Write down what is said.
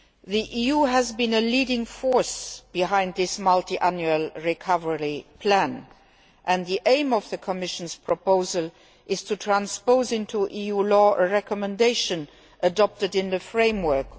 The EU has been a leading force behind this multi annual recovery plan, and the aim of the Commission's proposal is to transpose into EU law a recommendation adopted in the ICCAT framework.